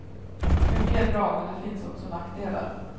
Mycket är bra men det finns också nackdelar.